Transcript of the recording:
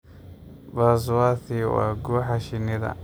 Buzzworthy waa guuxa shinnida.